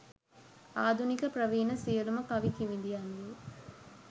ආධුනික ප්‍රවීණ සියලූම කවි කිවිඳියන්ගේ